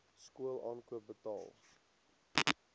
skool aankoop betaal